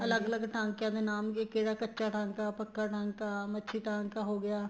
ਅਲੱਗ ਅਲੱਗ ਟਾਕਿਆਂ ਦੇ ਨਾਮ ਵੀ ਕਿਹੜਾ ਕੱਚਾ ਟਾਂਕਾ ਆ ਪੱਕਾ ਟਾਂਕਾ ਆ ਮੱਛੀ ਟਾਂਕਾ ਹੋ ਗਿਆ